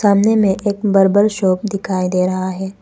सामने में एक बरबर शॉप दिखाई दे रहा है।